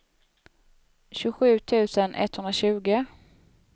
tjugosju tusen etthundratjugo